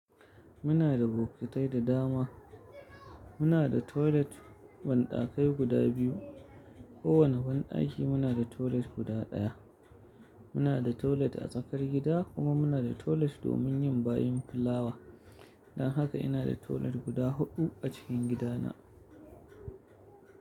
Muna da bokitai da dama. Muna da toilet banɗakai guda biyu. Kowane banɗaki muna da toilet guda ɗaya. Muna da toilet a tsakar gida kuma muna da toilet domin yin bayin fulawa. Don haka ina da toilet guda huɗu a cikin gidana.